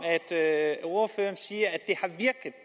ordføreren siger